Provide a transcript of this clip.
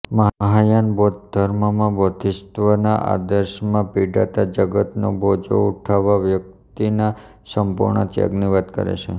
મહાયાન બૌદ્ધ ધર્મમાં બોધિસત્વ ના આદર્શમાં પીડાતા જગતનો બોજો ઉઠાવવા વ્યક્તિના સંપુર્ણ ત્યાગની વાત છે